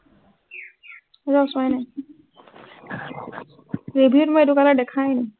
ৰ চোৱাই নাই। review ত মই এইটো color দেখাই নাই,